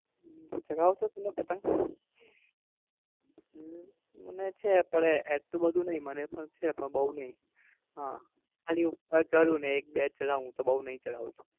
હમ ચગાવો છો તમે પતંગ? અમ મને છે પણ એટલું બધું નઈ મને પણ છે પણ બૌ નઈ ઉહ ખાલી ઉપર ચઢું ને એક બે ચગાવું હું તો બઉ નઈ ચઢાવતો.